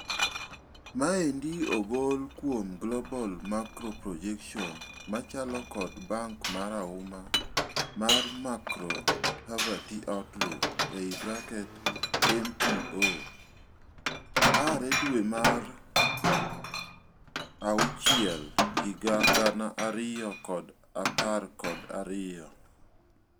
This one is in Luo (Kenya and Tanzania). Maendi ogol kuom global macro projections machalo kod bank marauma mar macro poverty outlook (MPO) aare dwee mar auchiel higa gana ariyo kod apar kod ariyo.